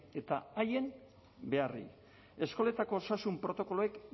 eta haien beharrei eskoletako osasun protokoloek